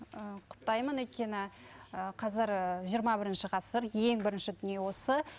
ыыы құптаймын өйткені ііі қазір жиырма бірінші ғасыр ең бірінші дүние осы